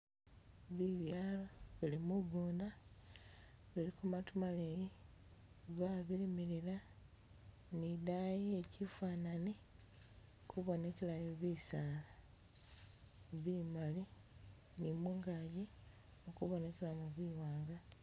Bibyalo bili mugunda biliko matu maleyi, babilimilila nidayi iye kyifanani ikubonekelayo bisaala bimali ni mungagi mukubonekelamo biwanga.